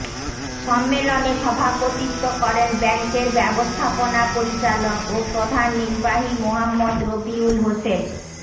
সম্মেলনে সভাপতিত্ব করেন ব্যাংকের ব্যবস্থাপনা পরিচালক ও প্রধান নির্বাহী মোহাম্মদ রবিউল হোসেন